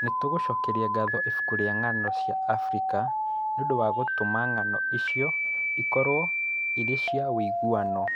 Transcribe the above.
Nĩ tũcokagĩria ngatho Ibuku rĩa Ng'ano cia Abirika nĩ ũndũ wa gũtũma ng'ano icio ikorũo irĩ cia ũiguano.